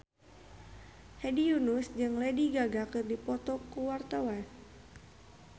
Hedi Yunus jeung Lady Gaga keur dipoto ku wartawan